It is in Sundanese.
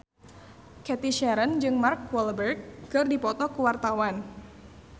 Cathy Sharon jeung Mark Walberg keur dipoto ku wartawan